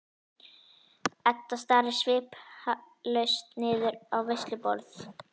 Edda starir sviplaus niður á veisluborð.